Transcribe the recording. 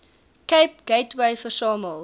cape gateway versamel